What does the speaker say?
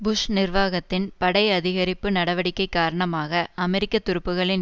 push நிர்வாகத்தின் படை அதிகரிப்பு நடவடிக்கை காரணமாக அமெரிக்க துருப்புகளின்